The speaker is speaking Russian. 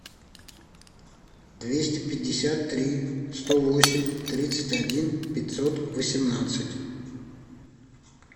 двести пятьдесят три сто восемь тридцать один пятьсот восемнадцать